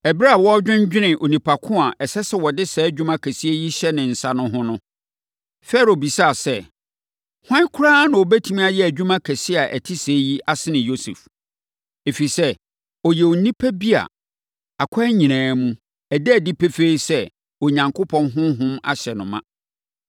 Ɛberɛ a wɔredwennwene onipa ko a ɛsɛ sɛ wɔde saa adwuma kɛseɛ yi hyɛ ne nsa no ho no, Farao bisaa sɛ, “Hwan koraa na ɔbɛtumi ayɛ adwuma kɛseɛ a ɛte sɛɛ yi asene Yosef? Ɛfiri sɛ, ɔyɛ onipa bi a, akwan nyinaa mu, ɛda adi pefee sɛ, Onyankopɔn honhom ahyɛ no ma.”